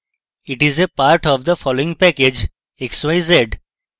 it is a part of the following package: xyz